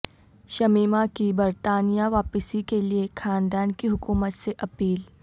شمیمہ کی برطانیہ واپسی کے لیے خاندان کی حکومت سے اپیل